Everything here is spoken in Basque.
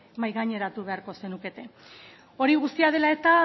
mahaigaineratu beharko zenukete hori guztia dela eta